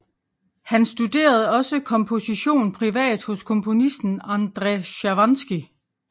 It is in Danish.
Han studerede også komposition privat hos komponisten Endre Szervánszky